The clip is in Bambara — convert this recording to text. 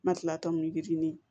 Ma kila tɔmɔni